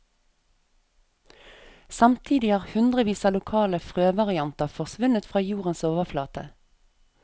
Samtidig har hundrevis av lokale frøvarianter forsvunnet fra jordens overflate.